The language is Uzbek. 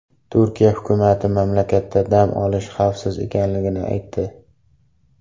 Turkiya hukumati mamlakatda dam olish xavfsiz ekanligini aytdi.